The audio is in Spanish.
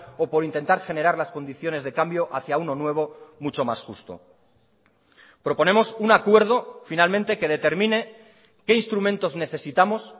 o por intentar generar las condiciones de cambio hacia uno nuevo mucho más justo proponemos un acuerdo finalmente que determine qué instrumentos necesitamos